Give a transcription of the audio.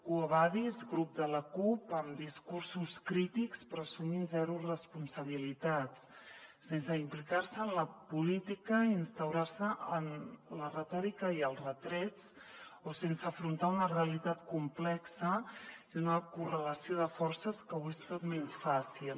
quo vadis grup de la cup amb discursos crítics però assumint zero responsabilitats sense implicar se en la política i instaurant se en la retòrica i els retrets o sense afrontar una realitat complexa i una correlació de forces que ho és tot menys fàcil